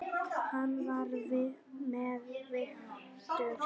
Hann er með viturt hjarta.